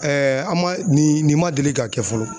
an man nin nin man deli ka kɛ fɔlɔ.